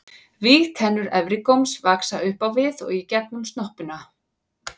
Vígtennur efri góms vaxa upp á við og í gegnum snoppuna.